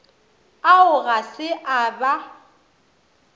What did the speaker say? ao ga se a ba